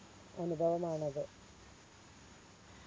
അനുഭവമാണത്